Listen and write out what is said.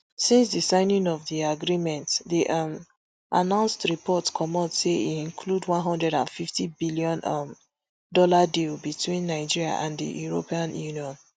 since di signing of di agreement dey um announced report comot say e include one hundred and fifty billion um dollar deal between nigeria and di european union